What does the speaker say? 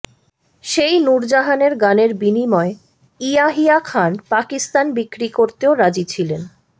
সেই নূরজাহানের গানের বিনিময়ে ইয়াহিয়া খান পাকিস্তান বিক্রি করতেও রাজি ছিলেন